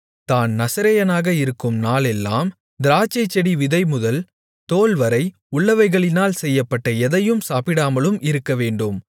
தான் நசரேயனாக இருக்கும் நாளெல்லாம் திராட்சைச்செடி விதைமுதல் தோல்வரை உள்ளவைகளினால் செய்யப்பட்ட எதையும் சாப்பிடாமலும் இருக்கவேண்டும்